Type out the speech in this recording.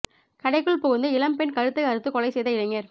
கடைக்குள் புகுந்து இளம் பெண் கழுத்தை அறுத்து கொலை செய்த இளைஞர்